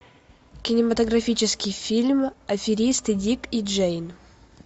кинематографический фильм аферисты дик и джейн